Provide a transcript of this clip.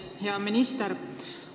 Hea minister!